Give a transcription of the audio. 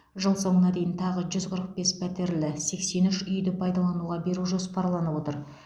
жыл соңына дейін тағы жүз қырық бес пәтерлі сексен үш үйді пайдалануға беру жоспарланып отыр